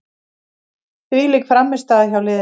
Þvílík frammistaða hjá liðinu.